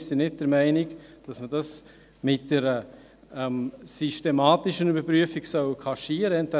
Wir sind nicht der Meinung, dass man dies mit einer systematischen Überprüfung kaschieren sollte.